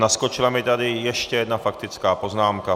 Naskočila mi tady ještě jedna faktická poznámka.